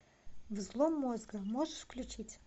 взлом мозга можешь включить